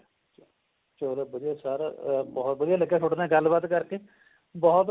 ਚਲੋ ਵਧਿਆ ਸਾਰੇ ਅਹ ਭੂਤ ਵਧਿਆ ਲੱਗਿਆ ਥੋਡੇ ਨਾਲ ਗੱਲ ਬਾਤ ਕਰਕੇ ਭੂਤ